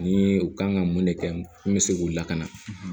Ni u kan ka mun de kɛ n bɛ se k'u lakana